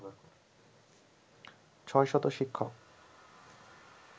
৬শত শিক্ষক